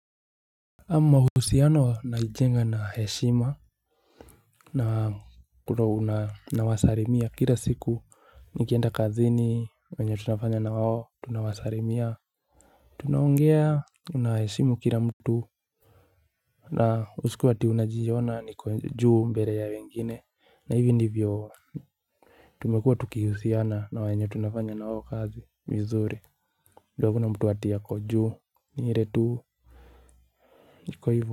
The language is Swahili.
Ama uhusiano naijenga na heshima na kuro unawasalimia kila siku nikienda kazi ni wenye tunafanya na wao tunawasalimia. Tunaongea unaheshimu kila mtu. Na usikuwe eti unajiona ni juu mbele ya wengine na hivi ndivyo tumekuwa tukihusiana na wenye tunafanya na wao kazi vizuri ju akuna mtu ati ako juu ni ile tu. Niko hivo.